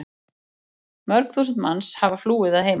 Mörg þúsund manns hafa flúið að heiman.